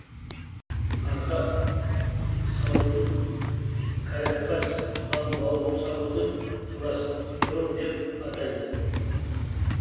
арқа сауытын карапас ал бауыр сауытын пластрон деп атайды